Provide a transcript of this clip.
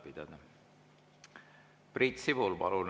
Priit Sibul, palun!